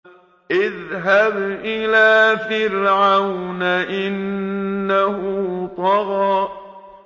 اذْهَبْ إِلَىٰ فِرْعَوْنَ إِنَّهُ طَغَىٰ